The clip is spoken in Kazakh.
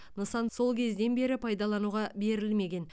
нысан сол кезден бері пайдалануға берілмеген